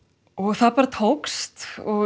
það bara tókst